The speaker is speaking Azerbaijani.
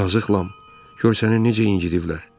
Yazıq Lam, gör səni necə incidiblər.